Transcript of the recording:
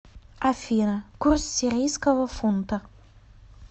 афина курс сирийского фунта